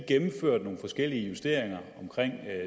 gennemførte nogle forskellige justeringer